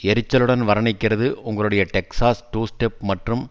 எரிச்சலுடன் வர்ணிக்கிறது உங்களுடைய Texas two step மற்றும்